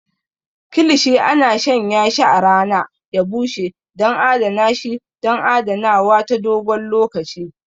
Kilishi ana shanyashi a rana ya bushe don adana shi don adanawa ta dogon lokaci.